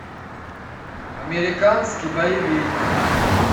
американский боевик